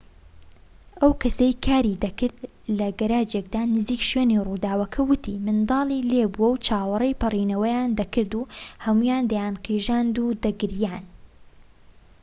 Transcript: ئەو کەسەی کاری دەکرد لە گەراجێكدا نزیك شوێنی ڕووداوەکە وتی منداڵی لێبوو چاوەڕێی پەڕێنەوەیان دەکرد و هەموویان دەیانقیژاند و دەگریان